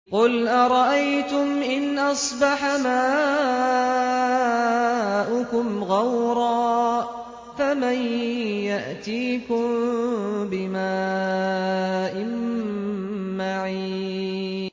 قُلْ أَرَأَيْتُمْ إِنْ أَصْبَحَ مَاؤُكُمْ غَوْرًا فَمَن يَأْتِيكُم بِمَاءٍ مَّعِينٍ